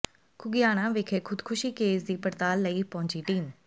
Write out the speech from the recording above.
ਘੁਗਿਆਣਾ ਵਿਖੇ ਖ਼ੁਦਕੁਸ਼ੀ ਕੇਸ ਦੀ ਪੜਤਾਲ ਲਈ ਪਹੁੰਚੀ ਟੀਮ